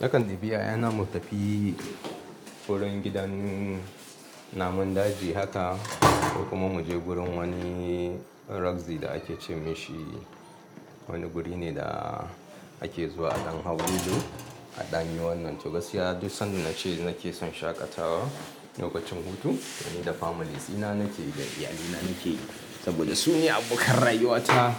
Nakan bibi yayana mu tafi wurin gidan namun daji haka, ko kuma mu je gurin wani rugzi da ake ce mashi wani guri ne da ake zuwa a don hau lilo a danyi wannan. To gaskiya duk sanda nace nake son shaƙatawa lokacin hutu, ni da families dina nake da iyalina nake saboda su ne abokan rayuwata.